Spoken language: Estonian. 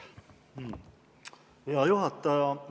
Hea juhataja!